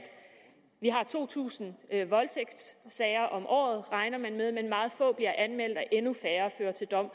vi har to tusind voldtægtssager om året regner man med men meget få bliver anmeldt og endnu færre fører til dom